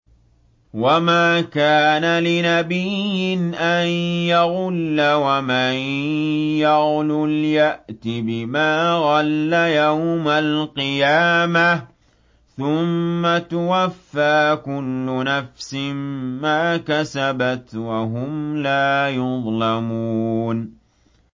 وَمَا كَانَ لِنَبِيٍّ أَن يَغُلَّ ۚ وَمَن يَغْلُلْ يَأْتِ بِمَا غَلَّ يَوْمَ الْقِيَامَةِ ۚ ثُمَّ تُوَفَّىٰ كُلُّ نَفْسٍ مَّا كَسَبَتْ وَهُمْ لَا يُظْلَمُونَ